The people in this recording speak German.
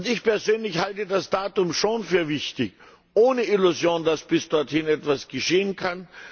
Ich persönlich halte das Datum schon für wichtig ohne Illusion, dass bis dorthin etwas geschehen kann.